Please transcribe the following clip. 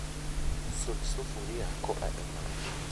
Sud sufria koa e mach